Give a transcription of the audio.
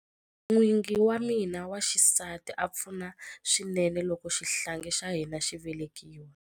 N'wingi wa mina wa xisati a pfuna swinene loko xihlangi xa hina xi velekiwa.